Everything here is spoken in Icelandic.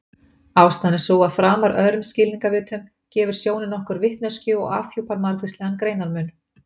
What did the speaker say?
Ástæðan er sú að framar öðrum skilningarvitum gefur sjónin okkur vitneskju og afhjúpar margvíslegan greinarmun.